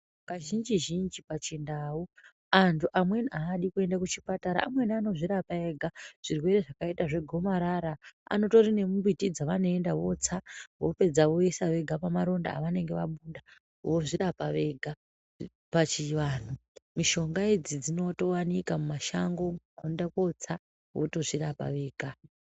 Kazhinji zhinji pachindau, antu amweni adi kuyenda kuchipatara. Amweni anozvirapa ega, zvirwere zvakayita zvegomarara. Anotori nemumbiti dzavanoyinda votsa, vopedza voyisa vega pamaronda avanenge vabuda vozvirapa vega pachivanhu. Mishonga idzi dzinotowanika mumashango, onda kotsa votozvirapa vega.